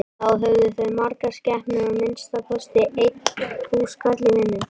Þá höfðu þau margar skepnur og að minnsta kosti einn húskarl í vinnu.